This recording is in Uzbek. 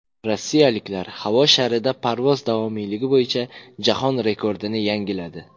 Rossiyaliklar havo sharida parvoz davomiyligi bo‘yicha jahon rekordini yangiladi.